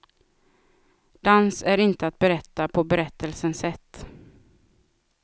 Dans är inte att berätta på berättelsens sätt.